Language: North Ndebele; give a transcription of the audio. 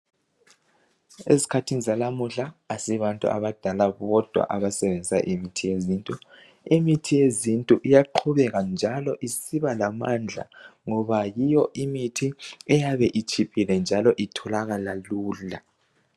Ezikhathini zalamuhla asibantu abadala bodwa abasebenzisa imithi yezintu. Imithi yezintu iyaqhubeka njalo isiba lamandla ngoba yiyo imithi eyabe itshiphile njalo itholakala lula.